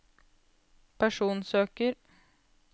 personsøker